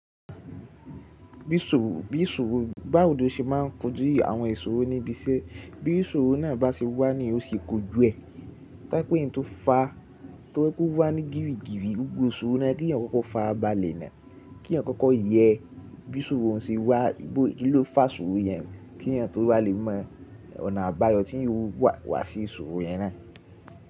Bí sóòò, báwo lo ṣe máa n kojú ì àwọn ìṣòro níbi iṣẹ́, bí ìṣòro náà bá ṣe wà ní èèyàn o ṣe kojú ẹ, táípẹ̀ ein tó fàá tó jẹ pé ó wà ní gìrí gìrí, gbogbo ìṣòro náà kí ẹ̀yin kọkọ farabalẹ na, kí èèyàn kọkọ yẹ bí ìsòrò oun ṣe wà, bó kí ló fà sọ̀rọ̀ yẹn, kí èèyàn tó wà lè mọ ọ̀nà àbáyọ tí eeyan o wà wa sí ìsòrò yẹn náà.